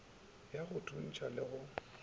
ya go thuntšha le go